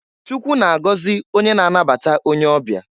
Chukwu na-agọzị onye na-anabata onye ọbịa.